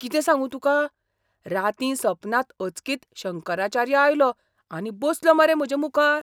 कितें सांगू तुका, रातीं सपनांत अचकीत शंकराचार्य आयलो आनी बसलो मरे म्हजे मुखार!